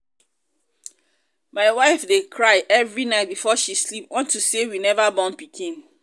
my wife dey cry every night before she sleep unto say we never born pikin